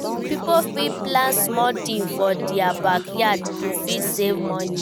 Pipo fit plant small things for their backyard to fit save money